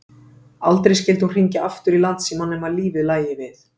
Aldrei skyldi hún hringja aftur í Landsímann nema lífið lægi við.